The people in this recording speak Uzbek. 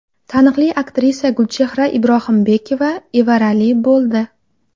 Taniqli aktrisa Gulchehra Ibrohimbekova evarali bo‘ldi.